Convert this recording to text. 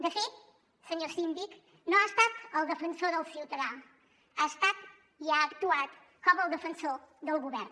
de fet senyor síndic no ha estat el defensor del ciutadà ha estat i ha actuat com el defensor del govern